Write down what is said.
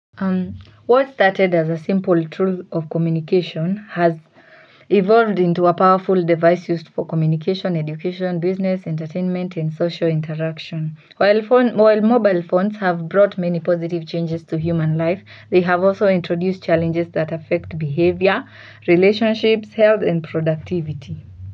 What started as a simple tool of communication has evolved into a powerful device used for communication, education, business, entertainment and social interaction. While mobile phones have brought many positive changes to human life, they have also introduced challenges that affect behavior, relationships, health and productivity.